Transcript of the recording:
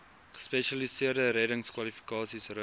gespesialiseerde reddingskwalifikasies rus